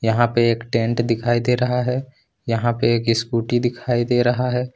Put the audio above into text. यहां पे एक टेंट दिखाई दे रहा है यहां पे एक स्कूटी दिखाई दे रहा है।